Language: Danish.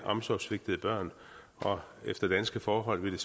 omsorgssvigtede børn og efter danske forhold ville